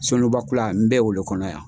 Soluba kula n bɛ o lo kɔnɔ yan.